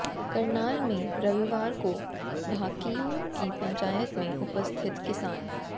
करनाल में रविवार को भाकियू की पंचायत में उपस्थित किसान